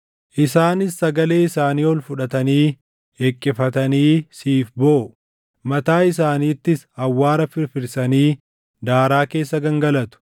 Isaanis sagalee isaanii ol fudhatanii hiqqifatanii siif booʼu; mataa isaaniittis awwaara firfirsanii daaraa keessa gangalatu.